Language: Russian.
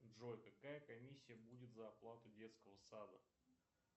джой какая комиссия будет за оплату детского сада